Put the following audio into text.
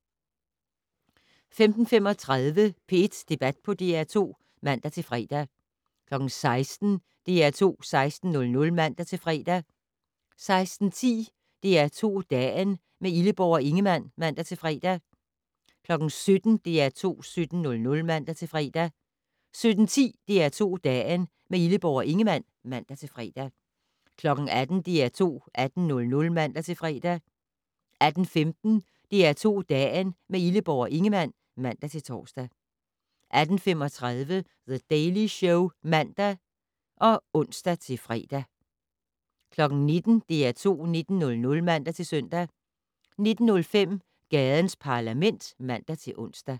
15:35: P1 Debat på DR2 (man-fre) 16:00: DR2 16:00 (man-fre) 16:10: DR2 Dagen - med Illeborg og Ingemann (man-fre) 17:00: DR2 17:00 (man-fre) 17:10: DR2 Dagen - med Illeborg og Ingemann (man-fre) 18:00: DR2 18:00 (man-fre) 18:15: DR2 Dagen - med Illeborg og Ingemann (man-tor) 18:35: The Daily Show (man og ons-fre) 19:00: DR2 19:00 (man-søn) 19:05: Gadens Parlament (man-ons)